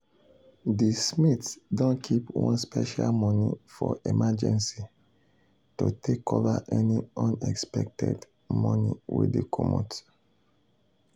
the smiths don keep one special money for emergency to take cover any unexpected money wey dey comot.